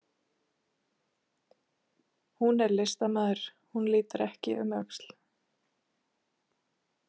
Hún er listamaður, hún lítur ekki um öxl.